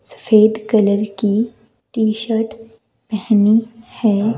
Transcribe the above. सफेद कलर की टी-शर्ट पहनी है।